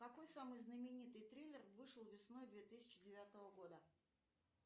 какой самый знаменитый триллер вышел весной две тысячи девятого года